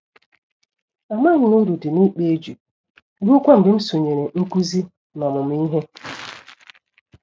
Amaghịm na uru dị n'ịkpa eju ruokwa mgbe m sonyere nkụzi na ọmụmụ ìhè.